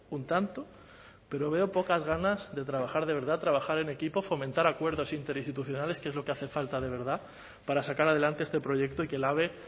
un tanto pero veo pocas ganas de trabajar de verdad trabajar en equipo fomentar acuerdos interinstitucionales que es lo que hace falta de verdad para sacar adelante este proyecto y que el ave